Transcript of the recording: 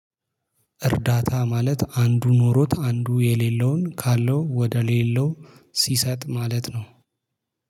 እርዳታ ማለት አንዱ ኖሮት አንዱ የሌለውን ካለው ወደ ሌለው ሲሰጥ ማለት ነው።